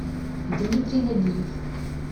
дмитрий нагиев